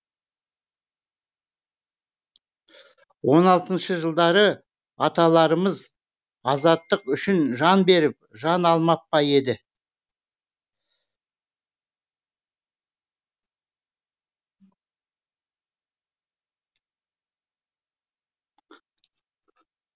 он алтыншы жылдары аталарымыз азаттық үшін жан беріп жан алмап па еді